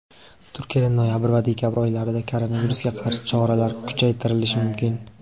Turkiyada noyabr va dekabr oylarida koronavirusga qarshi choralar kuchaytirilishi mumkin.